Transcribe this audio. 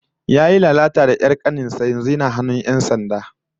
Yayi lalata da 'yar kanin sa, yanzu yana hannun 'yan sanda